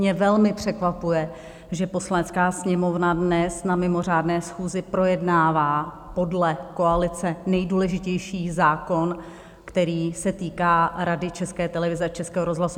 Mě velmi překvapuje, že Poslanecká sněmovna dnes na mimořádné schůzi projednává podle koalice nejdůležitější zákon, který se týká Rady České televize a Českého rozhlasu.